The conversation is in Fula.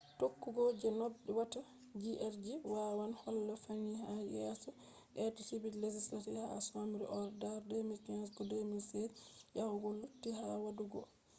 tokkugo je nobe watta hjr-3 wawan holla fahin ha je yeso be subti legislature ha dark oh dar 2015 koh 2016 yahugo koh lutii ha wadugo